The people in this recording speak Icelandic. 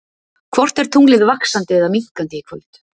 Hvort er tunglið vaxandi eða minnkandi í kvöld?